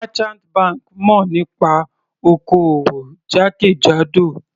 Merchant banks mọ̀ nípa oko-òwò jákèjádò.